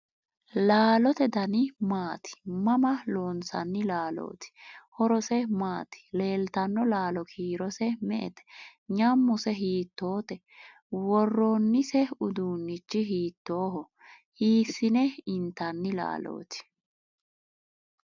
Laalote dani maati? Mama loonsanni laalooti? Horose maati? Leeltanno laalo kiirose me'ete ? Nyammose hiittoote? Worroonnise uduunnichi hiittooho? Hiissine intanni laalooti?